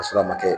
Ka sɔrɔ a ma kɛ